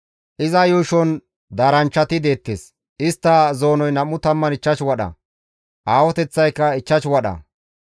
Iza yuushon daaranchchati deettes; istta zoonoy 25 wadha; aahoteththaykka 5 wadha.